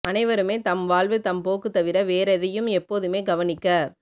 அனைவருமே தம் வாழ்வு தம் போக்குத் தவிர வேறெதையும் எப்போதுமே கவனிக்க